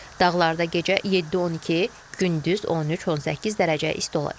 Dağlarda gecə 7-12, gündüz 13-18 dərəcə isti olacaq.